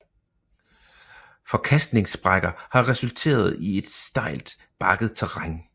Forkastningssprækker har resulteret i et stejlt bakket terræn